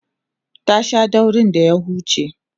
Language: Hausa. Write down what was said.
ta Sha daurin da ya huce